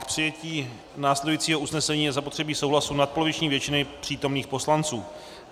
K přijetí následujícího usnesení je zapotřebí souhlasu nadpoloviční většiny přítomných poslanců.